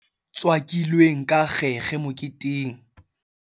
ba nwele jwala bo tswakilweng ka kgekge moketeng